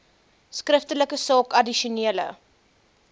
skriftelik saak addisionele